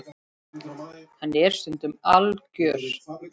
Hann er stundum algjör.